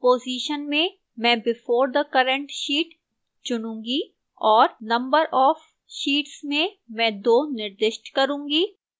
position में मैं before the current sheet चुनूंगी और no of sheets में मैं 2 निर्दिष्ट करूंगी